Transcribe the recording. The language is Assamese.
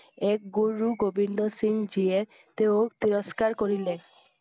এক গুৰু গোবিন্দ সিংহ যিয়ে তেওঁৰ তিৰস্কা ৰ কৰিলে।